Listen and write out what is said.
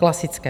Klasické.